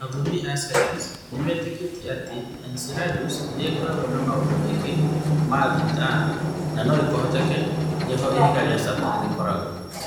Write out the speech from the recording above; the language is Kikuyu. Athomi a sayansi nĩ metĩkĩtie atĩ Enceladus nĩ ĩkoragwo na maũndũ maingĩ ma thĩ na atĩ no kũhoteke nĩ ho ihiga rĩa Saturn rĩkoragwo.